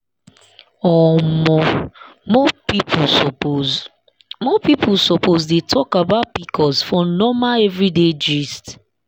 omo more people suppose more people suppose dey talk about pcos for normal everyday gist.